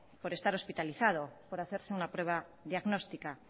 por estar hospitalizado por hacerse una prueba diagnóstica